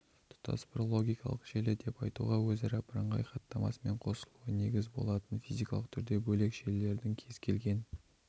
тұтас бір логикалық желі деп айтуға өзара бірыңғай хаттамасымен қосылуы негіз болатын физикалық түрде бөлек желілердің кез-келген